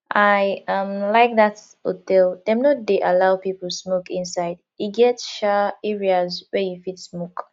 i um like dat hotel dem no dey allow people smoke inside e get um areas where you fit smoke